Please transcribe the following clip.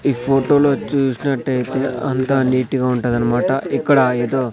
ఈ ఫోటోలో చూసినట్టయితే అంతా నీట్ గా ఉంటది అన్నమాట ఇక్కడ ఏదో.